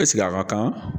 a ka kan